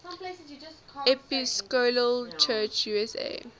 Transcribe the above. episcopal church usa